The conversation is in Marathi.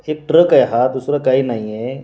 एक ट्रक आहे हा दुसर काही नाही.